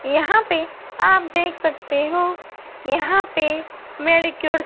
यहां पे आप देख सकते हो यहां पे मेडिक्योर --